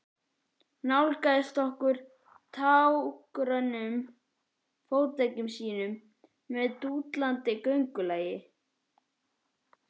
Nálgaðist okkur á tággrönnum fótleggjum sínum með dúandi göngulagi.